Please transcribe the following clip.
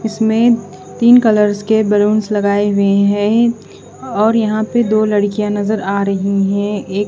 इसमें तीन कलर्स के बलूंस लगाए हुए हैं और यहां पे दो लड़कियां नजर आ रही है एक--